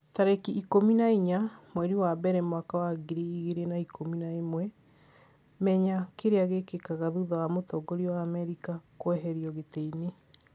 tarĩki ikũmi na inya mweri wa mbere mwaka wa ngiri igĩrĩ na ikũmi na ĩmwe, menya kĩrĩa gĩkĩkaga thutha wa mũtongoria wa Amerika kũeherio gĩtĩ-inĩ